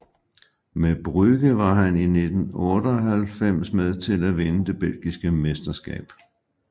Med Brugge var han i 1998 med til at vinde det belgiske mesterskab